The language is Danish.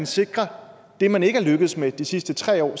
sikre det man ikke er lykkedes med de sidste tre år